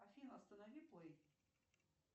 афина останови плэй